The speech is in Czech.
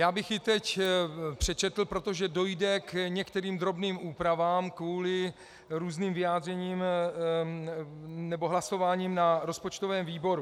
Já bych ji teď přečetl, protože dojde k některým drobným úpravám kvůli různým vyjádřením nebo hlasováním na rozpočtovém výboru.